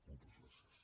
moltes gràcies